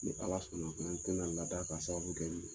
Ni Ala sɔnna n bena ladaa k'a sababu kɛ i ye.